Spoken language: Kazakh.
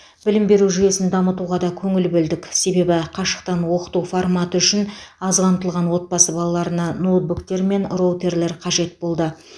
білім беру жүйесін дамытуға да көңіл бөлдік себебі қашықтан оқыту форматы үшін аз қамтылған отбасы балаларына ноутбуктер мен роутерлер қажет болды